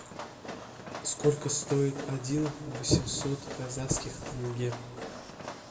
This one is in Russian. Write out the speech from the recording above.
сколько стоит один восемьсот казахских тенге